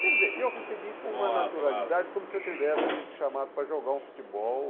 Quer dizer, eu recebi com uma naturalidade como se eu tivesse sido chamado para jogar um futebol.